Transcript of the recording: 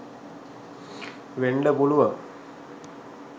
වෙන්ඩ පුළුවන්.